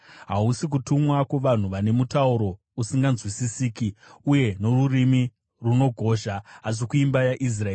Hausi kutumwa kuvanhu vane mutauro usinganzwisisiki uye norurimi runogozha, asi kuimba yaIsraeri,